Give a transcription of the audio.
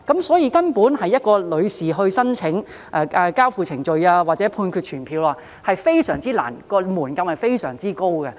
所以，女士提出申請交付羈押令或判決傳票非常困難，門檻非常高。